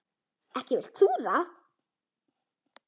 Ekki vilt þú það?